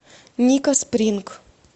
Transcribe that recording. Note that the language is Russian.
ника спринг